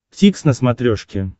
дтикс на смотрешке